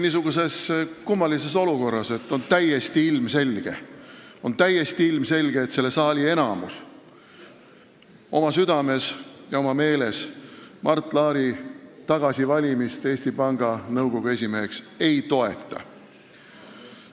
Me oleme siin kummalises olukorras, sest on täiesti ilmselge, et selle saali enamus oma südames ja oma meeles Mart Laari tagasivalimist Eesti Panga Nõukogu esimeheks ei toeta.